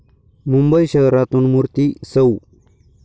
मुंबई शहरातून मूर्ती सौ.